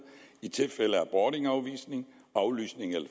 i tilfælde af boardingafvisning aflysning eller